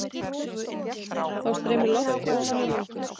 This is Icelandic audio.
Þá streymir loft ofan í lungun.